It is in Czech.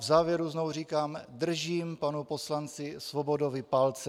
V závěru znovu říkám: Držím panu poslanci Svobodovi palce.